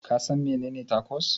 Kasan menene Tacos?